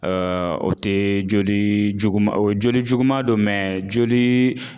o tɛ joli juguman o joli juguman don joli